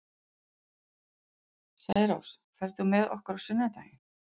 Særós, ferð þú með okkur á sunnudaginn?